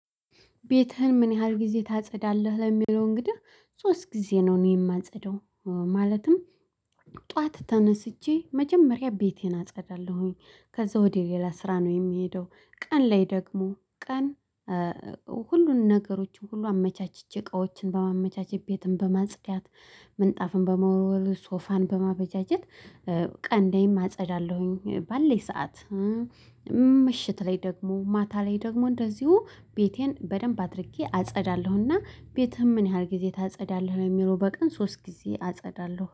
ቤትህን ምን ያህል ጊዜ ታጸዳለህ ለሚለው እንግዲህ ሶስት ጊዜ ነው እኔ እማጸዳው። ማለትም ጥዋት ተነስቼ መጀመሪያ ቤቴን አጸዳለሁኝ። ከዛ ወደ ሌላ ስራ ነው የሚሄደው። ቀን ላይ ደግሞ ቀን ሁሉን ነገሮችን ሁሉ አመቻችቼ እቃዎችን በማመቻቸት ቤትን በማጽዳት። ምንጣፍን በመወልወል ሶፋን በማበጃጀት ቀን ላይም አጸዳለሁኝ። ባለኝ ሰዓት ምሽት ላይ ደግሞ ማታ ላይ ደግሞ እንደዚሁ ቤቴን በደንብ አድርጌ አጸዳለሁና። ቤትህም ምን ያህል ጊዜ ታጸዳለህ? ለሚለው በቀን ሶስት ጊዜ አጸዳለሁ